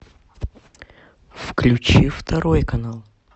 включи второй канал